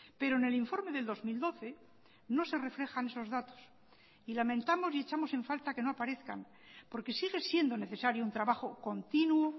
pero en el informe del dos mil doce no se reflejan esos datos y lamentamos y echamos en falta que no aparezcan porque sigue siendo necesario un trabajo continuo